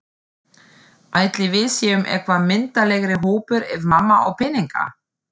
Ætli við séum eitthvað myndarlegri hópur ef mamma á peninga?